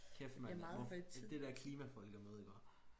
Kæft man det der klimafolkemøde iggå